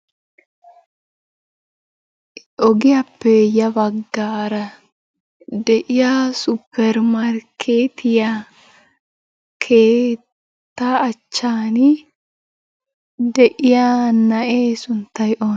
Ogiyaappe ya baggaara de'iya supper markkeetiya keettaa achchan de'iya na'ee sunttay onee?